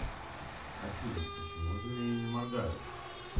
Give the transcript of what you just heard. афина почему змеи не моргают